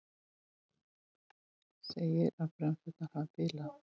Segir að bremsurnar hafi bilað